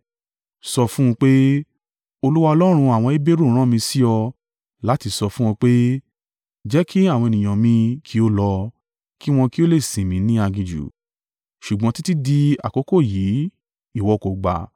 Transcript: Sọ fún un pé, ‘Olúwa Ọlọ́run àwọn Heberu rán mi sí ọ láti sọ fún ọ pé, Jẹ́ kí àwọn ènìyàn mi kí ó lọ, kí wọn kí ó lè sìn mi ni aginjù. Ṣùgbọ́n títí di àkókò yìí, ìwọ kò gba.